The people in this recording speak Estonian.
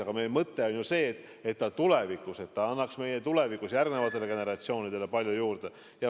Aga meie mõte on ju see, et see tulevikus annaks järgnevatele generatsioonidele palju juurde.